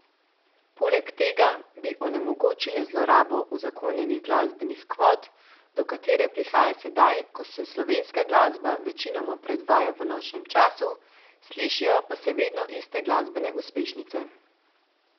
Poleg tega bi onemogočile zlorabo uzakonjenih glasbenih kvot, do katere prihaja sedaj, ko se slovenska glasba večinoma predvaja v nočnem času, slišijo pa se vedno iste glasbene uspešnice.